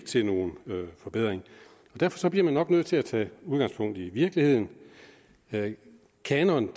til nogen forbedring derfor bliver man nok nødt til at tage udgangspunkt i virkeligheden kanon